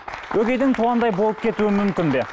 өгейдің туғандай болып кетуі мүмкін бе